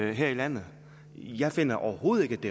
det her i landet jeg finder overhovedet